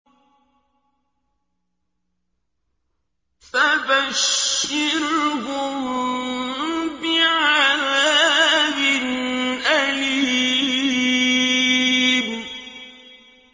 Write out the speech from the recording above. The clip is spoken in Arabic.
فَبَشِّرْهُم بِعَذَابٍ أَلِيمٍ